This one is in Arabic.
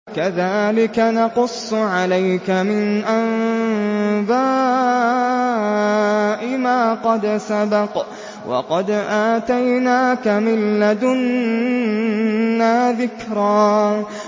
كَذَٰلِكَ نَقُصُّ عَلَيْكَ مِنْ أَنبَاءِ مَا قَدْ سَبَقَ ۚ وَقَدْ آتَيْنَاكَ مِن لَّدُنَّا ذِكْرًا